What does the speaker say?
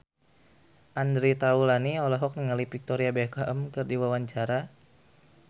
Andre Taulany olohok ningali Victoria Beckham keur diwawancara